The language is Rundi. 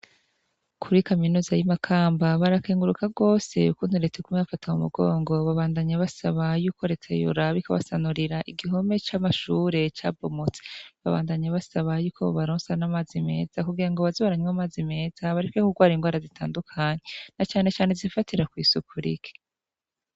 Kuri kaminuza y'imakamba barakenguruka rwose kunturetsa kume bafata mu mugongo babandanyi basaba yuko retayura bikabasanurira igihome c'amashure ca bomotsi babandanya basaba yuko bubaronsa n'amazi meza kugira ngo bazibaranywa amazi meza barike kurwara ingoara zitandukanyi na canecane zifatira kw'i sukurike.